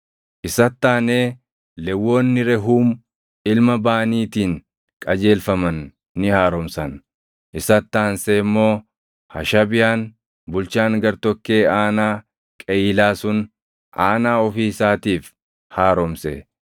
Isatti aanee Lewwonni Rehuum ilma Baaniitiin qajeelfaman ni haaromsan. Isatti aansee immoo Hashabiyaan bulchaan gartokkee aanaa Qeyiilaa sun aanaa ofii isaatiif haaromse.